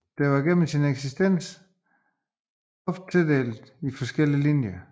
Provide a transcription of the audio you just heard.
Det var gennem sin eksistens ofte opdelt i forskellige linjer